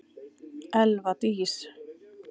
Elva Dís.